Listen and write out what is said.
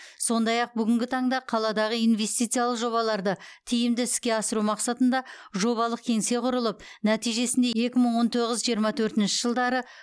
сондай ақ бүгінгі таңда қаладағы инвестициялық жобаларды тиімді іске асыру мақсатында жобалық кеңсе құрылып нәтижесінде екі мың он тоғыз жиырма төртінші жылдары